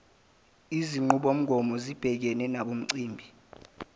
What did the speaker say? izinqubomgomo zibhekene nemicimbi